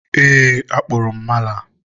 eee, akpụrụ m mala.